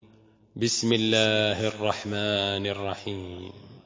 بِسْمِ اللَّهِ الرَّحْمَٰنِ الرَّحِيمِ